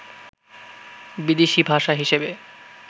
বিদেশী ভাষা হিসেবে